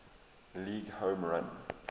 league home run